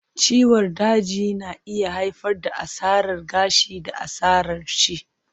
Ciwon daji na iya haifar da asarar gashi da asarar ci